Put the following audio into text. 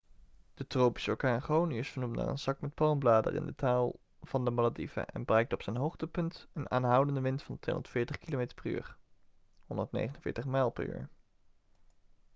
de tropische orkaan gonu is vernoemd naar een zak met palmbladeren in de taal van de malediven en bereikte op zijn hoogtepunt een aanhoudende wind van 240 kilometer per uur 149 mijl per uur